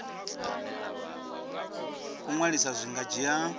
u ṅwalisa zwi nga dzhia